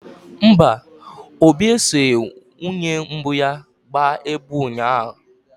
Mba, Obi esoghị nwunye mbụ ya gwuo egwu ụnyahụ.